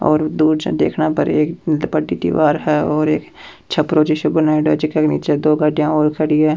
और दूर से देखने पर एक बड़ी दिवार है और एक छप्रो जैसो बनाईडो है जेका नीचे दो गाड़िया और खड़ी है।